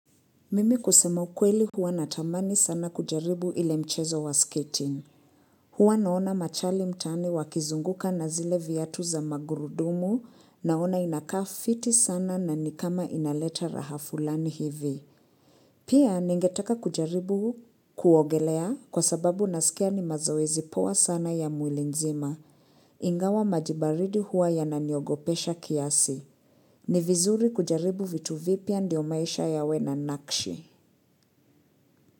Mimi kusema ukweli huwa natamani sana kujaribu ile mchezo wa skating. Huwa naona machali mtaani wakizunguka na zile viatu za magurudumu naona inakaa fiti sana na ni kama inaleta raha fulani hivi. Pia ningetaka kujaribu kuogelea kwa sababu nasikia ni mazoezi poa sana ya mwili nzima. Ingawa maji baridi huwa yananiogopesha kiasi. Ni vizuri kujaribu vitu vipya ndio maisha yawe na nakshi.